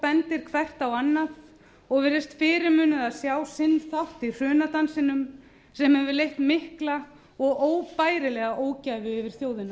bendir hvert á annað og virðist fyrirmunað að sjá sinn þátt í hrunadansinum sem hefur leitt mikla og óbærilega ógæfu yfir